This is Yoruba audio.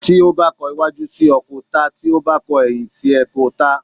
Tí o ba kọ̀ waju sí o, ko tá Tí o ba kọ̀ eyin sí o, ko tá